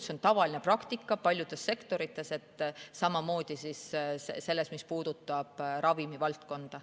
See on tavaline praktika paljudes sektorites, samamoodi sektoris, mis puudutab ravimivaldkonda.